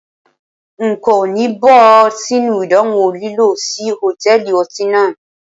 N kò ní bọ́ sínú idanwo lílọ sí Hòtẹ́lìì ọtí náà.